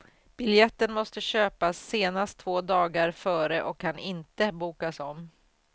Biljetten måste köpas senast två dagar före och kan inte bokas om.